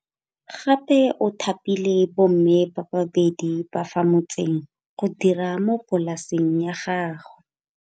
Gape o thapile bomme ba babedi ba fa motseng go dira mo polasing ya gagwe.